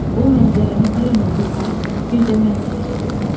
Bu mənzərəni bir nurlu ay, bir də mən seyredirdim.